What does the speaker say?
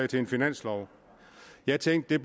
til en finanslov jeg tænkte at